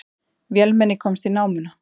Vélmenni komst í námuna